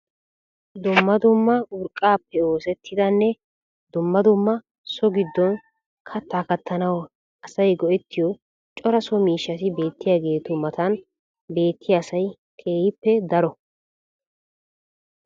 Dumma dumma urqqaappe oosettidanne dumma dumma so giddon kattaa kattanawu asay go'ettiyo cora so miishshati beettiyageetu matan beettiya asay keehippe daro.